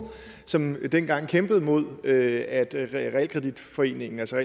som dengang kæmpede mod at realkreditforeningen altså